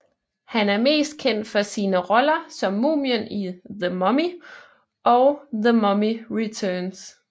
Han er mest kendt for sine roller som Mumien i The Mummy og The Mummy Returns